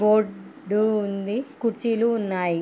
Board ఉంది ఊ కుర్చీలు ఉన్నాయి.